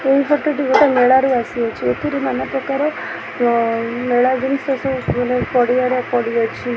ଏଇ ଫଟୋ ଟି ଗୋଟେ ମେଳାରୁ ଆସିଅଛି ଏଥିରେ ନାନା ପ୍ରକାର ଅ ମେଳା ଜିନିଷ ସବୁ ମାନେ ପଡ଼ିଆରେ ପଡ଼ିଅଛି।